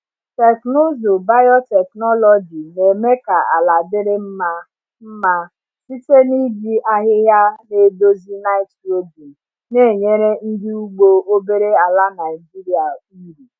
Teknụzụ biotechnology na-eme ka ala dịrị mma mma site n’iji ahịhịa na-edozi nitrogen, na-enyere ndị ugbo obere ala Naijiria uru.